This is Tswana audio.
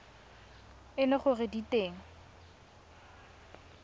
e le gore di teng